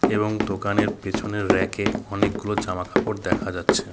এবং দোকানের পেছনের রেকে -এ অনেকগুলো জামাকাপড় দেখা যাচ্ছে।